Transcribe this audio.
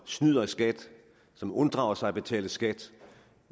snyder i skat som unddrager sig at betale skat